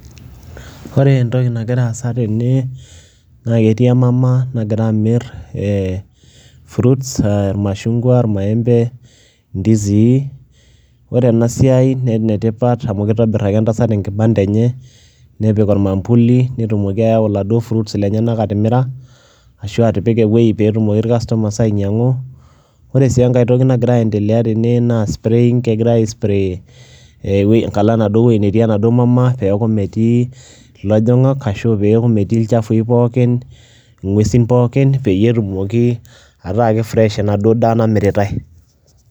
Ore entoki nagira aasa tene naake etii emama nagira amir ee fruits a irmashung'wa, irmaembe, ndizii. Ore ena siai naa ene tipat amu kitobir ake entaat enkibanda enye nepik ormambuli, netumoki ayau iladuo fruits lenyenak atimira ashu atipika ewuei pee etumoki ircustomers ainyang'u. Ore sii enkae toki nagira aiendelea tene naa spraying kegira aispray enkalo enaduo wuei natii enaduo maama peeku metii ilojang'ak ashu peeku metii ilchafui pookin, ng'uesin pookin peyie etumoki ataa kefresh enaduo daa namiritai .